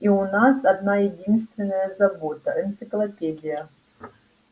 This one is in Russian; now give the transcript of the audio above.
и у нас одна-единственная забота энциклопедия